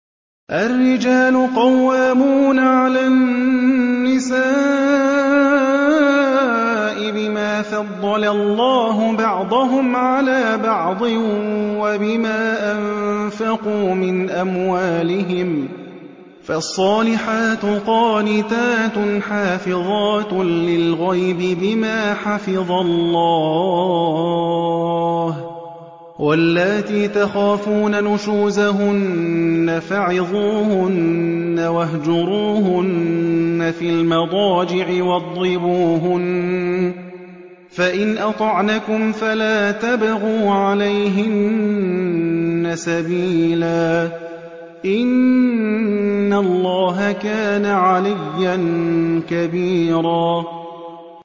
الرِّجَالُ قَوَّامُونَ عَلَى النِّسَاءِ بِمَا فَضَّلَ اللَّهُ بَعْضَهُمْ عَلَىٰ بَعْضٍ وَبِمَا أَنفَقُوا مِنْ أَمْوَالِهِمْ ۚ فَالصَّالِحَاتُ قَانِتَاتٌ حَافِظَاتٌ لِّلْغَيْبِ بِمَا حَفِظَ اللَّهُ ۚ وَاللَّاتِي تَخَافُونَ نُشُوزَهُنَّ فَعِظُوهُنَّ وَاهْجُرُوهُنَّ فِي الْمَضَاجِعِ وَاضْرِبُوهُنَّ ۖ فَإِنْ أَطَعْنَكُمْ فَلَا تَبْغُوا عَلَيْهِنَّ سَبِيلًا ۗ إِنَّ اللَّهَ كَانَ عَلِيًّا كَبِيرًا